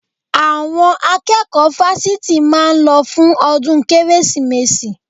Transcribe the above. Àwọn akẹ́kọ̀ọ́ fásitì máa lọ fún ọdún Kérésìmesì